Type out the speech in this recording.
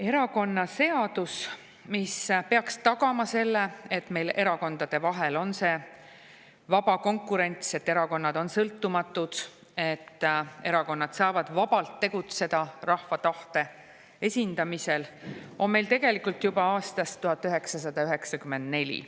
Erakonnaseadus, mis peaks tagama selle, et erakondade vahel on vaba konkurents, et erakonnad on sõltumatud, et erakonnad saavad vabalt tegutseda rahva tahte esindamisel, on meil tegelikult juba aastast 1994.